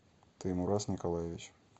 таймураз николаевич